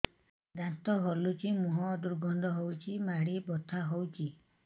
ଦାନ୍ତ ହଲୁଛି ମୁହଁ ଦୁର୍ଗନ୍ଧ ହଉଚି ମାଢି ବଥା ହଉଚି